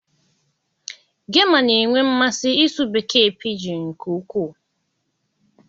Gema na-enwe mmasị ịsụ Bekee piijiụ nke ukwuu.